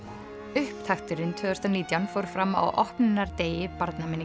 upptakturinn tvö þúsund og nítján fór fram á opnunardegi